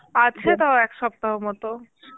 আছে তাও এক সপ্তাহ মতো